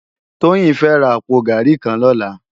Toyin fè rá àpó gàrí kàn lòlá